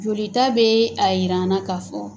Joli ta bɛ a jir'an na k'a fɔ